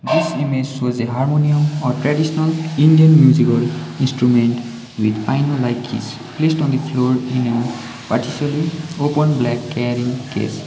this image shows a harmonium or traditional indian musical instrument with placed on the floor in an partially open black carrying case.